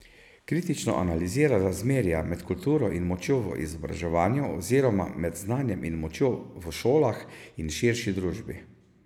Kritično analizira razmerja med kulturo in močjo v izobraževanju oziroma med znanjem in močjo v šolah in širši družbi.